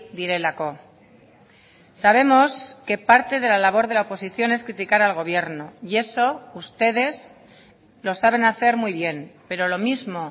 direlako sabemos que parte de la labor de la oposición es criticar al gobierno y eso ustedes lo saben hacer muy bien pero lo mismo